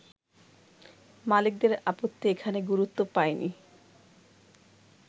মালিকদের আপত্তি এখানে গুরুত্ব পায়নি।